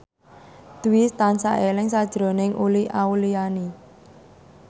Dwi tansah eling sakjroning Uli Auliani